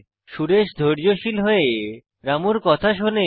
সুরেশ ধৈর্যশীল হয়ে রামুর কথা শোনে